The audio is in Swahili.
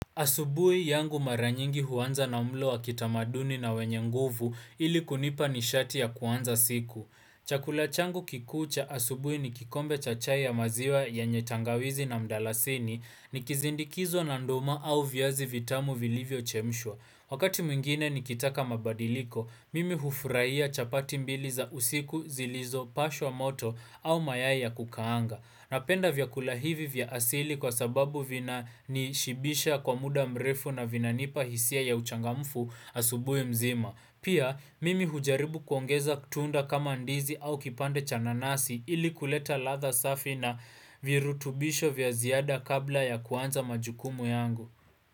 Asubui yangu mara nyingi huanza na mlo wa kitamaduni na wenye nguvu ili kunipa nishati ya kuanza siku. Chakula changu kikuu cha asubui ni kikombe cha chai ya maziwa yenye tangawizi na mdalasini nikizindikiza na nduma au viazi vitamu vilivyochemshwa. Wakati mwingine nikitaka mabadiliko, mimi hufuraia chapati mbili za usiku, zilizopashwa moto au mayai ya kukaanga. Napenda vyakula hivi vya asili kwa sababu vinanishibisha kwa muda mrefu na vinanipa hisia ya uchangamfu asubui mzima. Pia mimi hujaribu kuongeza tunda kama ndizi au kipande cha nanasi ili kuleta ladha safi na virutubisho vya ziada kabla ya kuanza majukumu yangu.